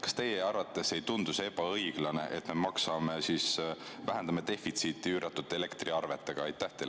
Kas teie arvates ei tundu see ebaõiglane, et me vähendame defitsiiti üüratute elektriarvetega?